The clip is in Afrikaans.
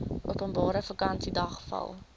openbare vakansiedag val